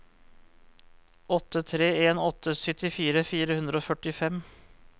åtte tre en åtte syttitre fire hundre og førtifem